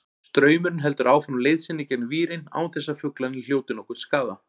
Straumurinn heldur áfram leið sinni gegnum vírinn án þess að fuglarnir hljóti nokkurn skaða.